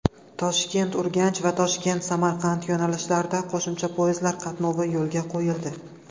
ToshkentUrganch va ToshkentSamarqand yo‘nalishlarida qo‘shimcha poyezdlar qatnovi yo‘lga qo‘yildi.